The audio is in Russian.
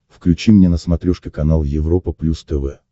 включи мне на смотрешке канал европа плюс тв